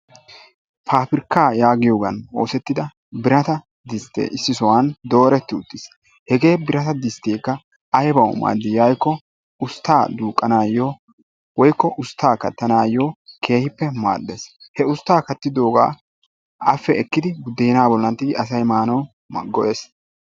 pabirkka yaagiyooga oosetida birata diste issisan dooreti utiis. he birta disttkekka aybbaw maadi giiko ustta duuqanayyo woykko usttaa kattanayo keehippe maaddees. he ustta a kattidooga appe ekkidi budena bollan tiggidi asay maanaw go''ees.